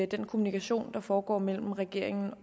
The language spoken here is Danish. den kommunikation der foregår mellem regeringen